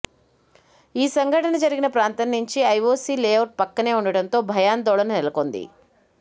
ఈ సంఘటన జరిగిన ప్రాంతం నుంచి ఐఓసీ లే అవుట్ పక్కనే ఉండటంతో భయాందోళన నెలకొంది